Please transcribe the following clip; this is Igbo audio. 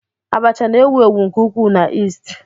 Abacha na-ewu ewu nke ukwuu na East.